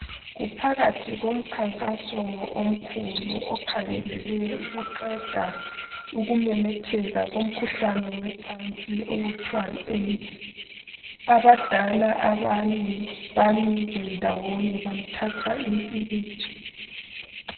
Kuphakathi komkhankaso omkhulu okhangelele ukuqeda ukumemetheka komkhuhlane wocansi okuthwa yi AIDS. Abadala abane bamile ndawonye bathatha impikitsha